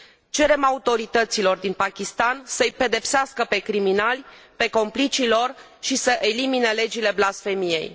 Cerem autorităților din Pakistan să îi pedepsească pe criminali, pe complicii lor și să elimine legile blasfemiei.